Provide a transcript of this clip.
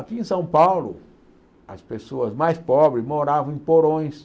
Aqui em São Paulo, as pessoas mais pobres moravam em porões,